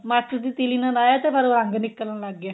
ਮਾਚਿਸ ਦੀ ਤੀਲੀ ਨਾਲ ਲਾਇਆ ਤੇ ਫੇਰ ਰੰਗ ਨਿਕਲਣ ਲੱਗ ਗਿਆ